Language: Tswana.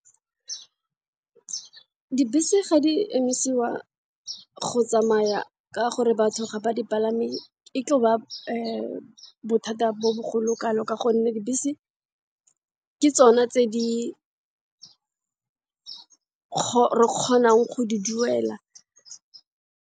Dibese ga di emisiwa go tsamaya ka gore batho ga ba di palame e tlo ba bothata bo bogolo kalo ka gonne dibese ke tsona tse re kgonang go di duela.